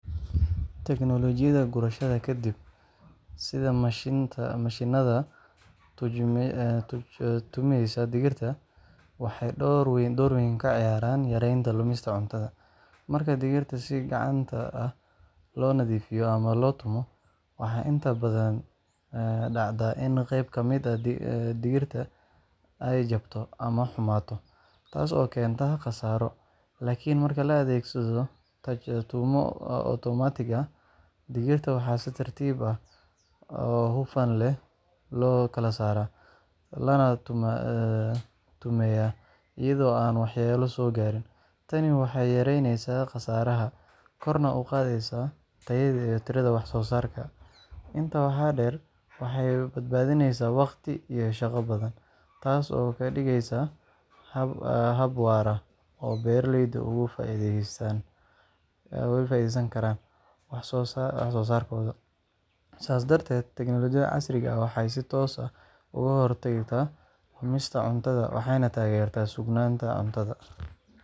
Tignoolajiyada gurashada ka dib, sida mashiinnada taj-tumista digirta, waxay door weyn ka ciyaaraan yaraynta lumista cuntada. Marka digirta si gacanta ah loo nadiifiyo ama loo tumo, waxaa inta badan dhacda in qayb ka mid ah digirta ay jabto ama xumaato, taas oo keenta khasaaro. Laakiin marka la adeegsado taj-tumo otomaatig ah, digirta waxaa si tartiib ah oo hufan loo kala saaraa, lana tumeeyaa iyadoo aan waxyeello soo gaarin. Tani waxay yareyneysaa khasaaraha, korna u qaadaysaa tayada iyo tirada wax-soo-saarka. Intaa waxaa dheer, waxay badbaadisaa waqti iyo shaqo badan, taas oo ka dhigaysa hab waara oo beeraleydu uga faa’iideysan karaan wax-soo-saarkooda. Sidaas darteed, tignoolajiyada casriga ah waxay si toos ah uga hortagtaa lumista cuntada waxayna taageertaa sugnaanta cunnada.